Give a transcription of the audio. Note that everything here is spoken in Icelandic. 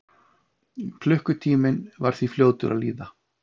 Klukkutíminn var því fljótur að líða.